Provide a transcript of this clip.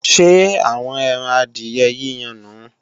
Ṣé àwọn ẹran adìyẹ yíyan nùu?